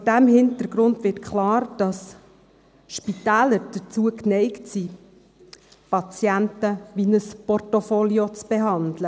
Vor diesem Hintergrund wird klar, dass die Spitäler dazu neigen, Patienten wie ein Portfolio zu behandeln.